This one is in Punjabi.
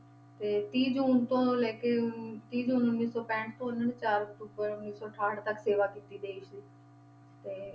ਤੇ ਤੀਹ ਜੂਨ ਤੋਂ ਲੈ ਕੇ ਅਮ ਤੀਹ ਜੂਨ ਉੱਨੀ ਸੌ ਪੈਂਹਠ ਤੋਂ ਇਹਨਾਂ ਨੇ ਚਾਰ ਅਕਤੂਬਰ ਉੱਨੀ ਸੌ ਅਠਾਹਠ ਤੱਕ ਸੇਵਾ ਕੀਤੀ ਦੇਸ ਦੀ ਤੇ